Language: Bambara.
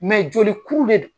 joli kuru de do.